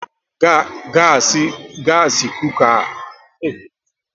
Gasi kuka ka ọbụ stoovu, kedụ nke ka amasị gị e ji sie nri?